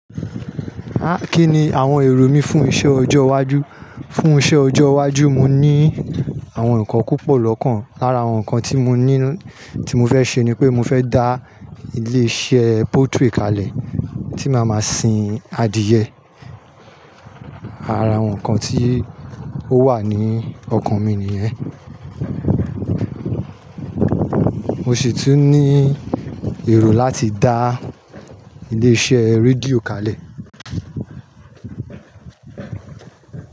Há kí ni àwọn èrò mí fún iṣẹ ọjọ́ iwájú? Fún iṣẹ ọjọ́ iwájú, mo ní àwọn nǹkan púpọ̀ lọ́kàn. Lára àwọn nǹkan tí mo ní, tí mo fẹ́ ṣe ni pé mo fẹ́ dá ilé iṣẹ́ poultry kalẹ̀ tí màá máa sin adìẹ. Àra àwọn nǹkan tí ó wà ní ọkàn mi nìyẹn. Mo sì tún ní èrò láti dá ilé iṣẹ́ rédíò kalẹ̀